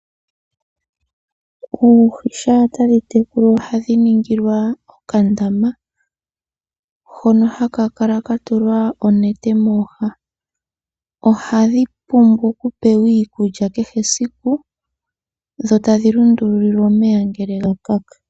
Oohi shampa tadhi tekulwa ohadhi ningilwa okandama, hoka haka kala ka tulwa onete mooha. Ohadhi pumbwa oku pewa iikulya kehe esiku, dho tadhi lundululilwa omeya ngele ga kaka.